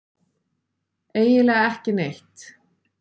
Eiginlega ekki neitt.